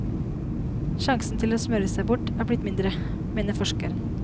Sjansen til å smøre seg bort er blitt mindre, mener forskeren.